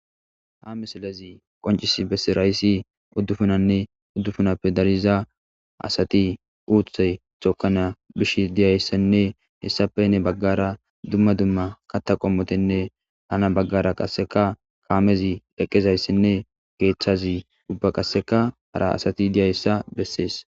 ha misilezi qoncis bessirayssi uddufunanne uddufunappe dariza asati uuthey chokana bish diyayssenne hessapenne baggara dumma dumma katta qommotenne hana baggara qasseka kaamezi eqqezayssenne keeththazi ubba qasseka hara asati diyayssa bessees